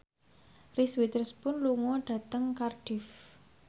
Reese Witherspoon lunga dhateng Cardiff